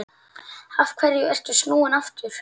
Af hverju ertu snúinn aftur?